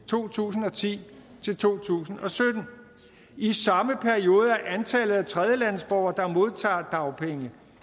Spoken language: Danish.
to tusind og ti til to tusind og sytten i samme periode er antallet af tredjelandsborgere der modtager dagpenge